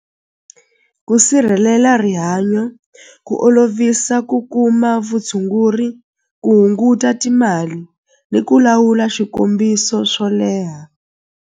Ku sirhelela rihanyo ku olovisa ku kuma vutshunguri ku hunguta timali ni ku lawula swikombiso swo leha.